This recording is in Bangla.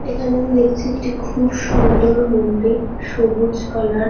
এখানে আমি দেখছি একটি খুব সুন্দর মন্দির। সবুজ কালার ।